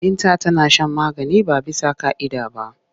Binta tana shan magani ba bisa ƙa'ida ba.